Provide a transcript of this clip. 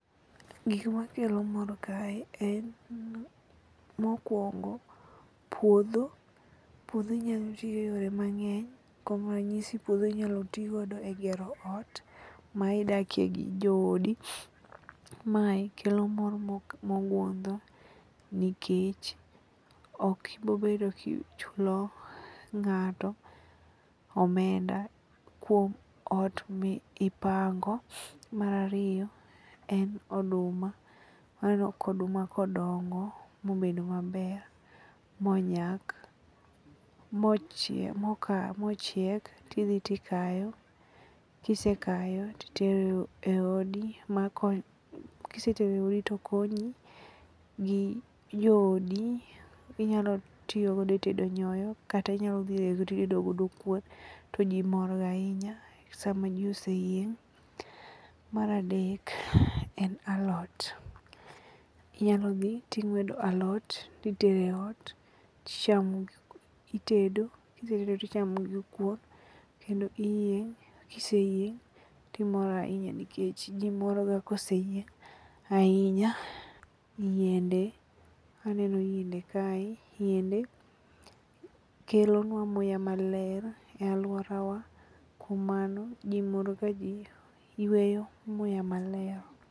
Gik makelo mor kae en: Mokwongo puodho. Puodho inyalo tigo e yore mang'eny kuom ranyisi puodho inyalo tigodo e gero ot ma idakie gi joodi. Mae kelo mor mogundho nikech ok ibobedo kichulo ng'ato omenda kuom ot mipango. Mar ariyo en oduma. Aneno ka oduma kodongo mobedo maber, monyak, mochiek tidhi tikayo kisekayo titero e odi kisetero e odi tokonyi gi joodi inyalo tiyogodo e tedo nyoyo kata inyalo dhi rego titedo godo kuon toji morgo ahinya sama ji oseyieng'. Mar adek en alot. Inyalo dhi ting'wedo alot titero e ot titedo kisetedo tichamogodo kuon kendo iyieng' kiseyieng' timor ahinya nikech ji morga koseyieng' ahienya. Yiende, aneno yiende kae. Yiende kelonwa muya maler e alworawa kuom mano ji mor ka ji yweyo muya maler.